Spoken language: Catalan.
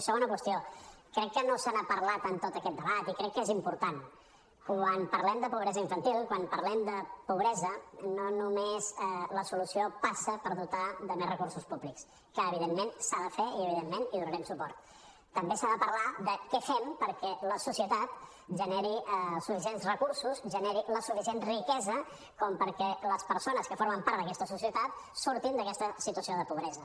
i segona qüestió crec que no se n’ha parlat en tot aquest debat i crec que és important quan parlem de pobresa infantil quan parlem de pobresa no només la solució passa per dotar de més recursos públics que evidentment s’ha de fer i evidentment hi donarem suport també s’ha de parlar de què fem perquè la societat generi els suficients recursos generi la suficient riquesa com perquè les persones que formen part d’aquesta societat surtin d’aquesta situació de pobresa